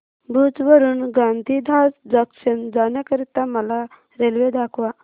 भुज वरून गांधीधाम जंक्शन जाण्या करीता मला रेल्वे दाखवा